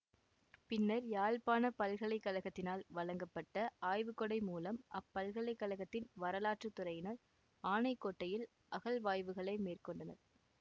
பின்னர் யாழ்ப்பாண பல்கலைக்கழகத்தினால் வழங்கப்பட்ட ஆய்வுக்கொடை மூலம் அப்பல்கலைக்கழகத்தின் வராலாற்றுத் துறையினர் ஆனைக்கோட்டையில் அகழ்வாய்வுகளை மேற்கொண்டனர்